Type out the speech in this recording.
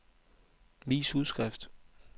vis udskrift